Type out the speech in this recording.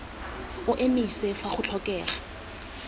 o emise fa go tlhokega